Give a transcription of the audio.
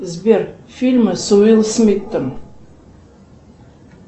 сбер фильмы с уилл смитом